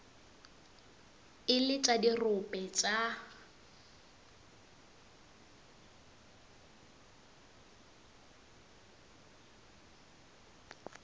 e le tša dirope tša